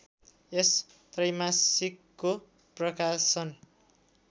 यस त्रैमासिकको प्रकाशन